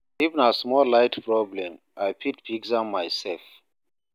If na small light problem, I fit fix am mysef.